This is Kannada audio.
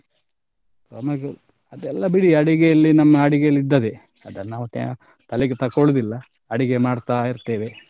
ಅದೆಲ್ಲ ಬಿಡಿ ಅಡಿಗೆಯಲ್ಲಿ ನಮ್ಮ ಅಡಿಗೆಯಲ್ಲಿ ಇದ್ದದ್ದೇ ಅದನ್ನ್ ನಾವ್ ತ್ಯಾ~ ತಲೆಗೆ ತಕೊಳ್ಳುದಿಲ್ಲ ಅಡಿಗೆ ಮಾಡ್ತಾ ಇರ್ತೇವೆ.